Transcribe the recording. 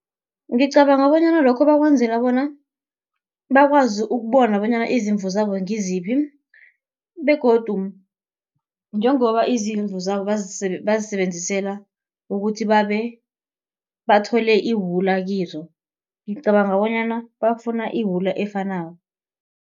Ngicabanga bonyana lokho bakwenzela bona, bakwazi ukubona bonyana izimvu zabo ngiziphi begodu njengoba izimvu zabo bazisebenzisela ukuthi bathole iwula kizo, ngicabanga bonyana bafuna iwula efanako.